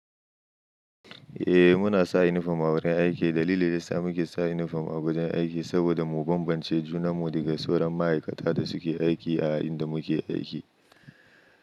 Eh muna sa uniform a wurin aiki. Dalilin da yasa muke sa uniform a wajen aiki saboda mu bambance juna mu daga sauran ma'aikata da suke aiki a inda muke aiki.